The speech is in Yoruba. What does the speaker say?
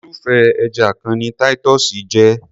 Irúfé ẹja kan ni Titus jé.